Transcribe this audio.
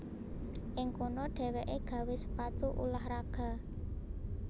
Ing kono dhéwéké gawé sepatu ulah raga